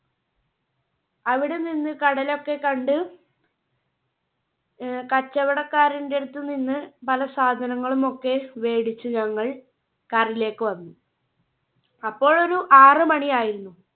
അവിടെ നിന്ന് കടൽ ഒക്കെ കണ്ട്. ആഹ് കച്ചവടക്കാരന്റെ അടുത്ത് നിന്ന് പല സാധനങ്ങളും ഒക്കെ മേടിച്ചു ഞങ്ങൾ Car ലേക്ക് വന്നു. അപ്പോഴൊരു ആറ് മണി ആയിരുന്നു.